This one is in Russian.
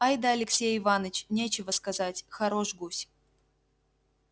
ай-да алексей иваныч нечего сказать хорош гусь